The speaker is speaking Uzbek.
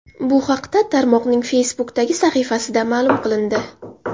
Bu haqda tarmoqning Facebook’dagi sahifasida ma’lum qilindi .